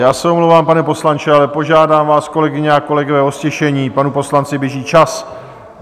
Já se omlouvám, pane poslanče, ale požádám vás, kolegyně a kolegové, o ztišení, panu poslanci běží čas.